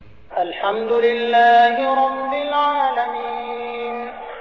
الْحَمْدُ لِلَّهِ رَبِّ الْعَالَمِينَ